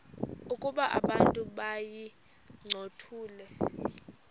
ukuba abantu bayincothule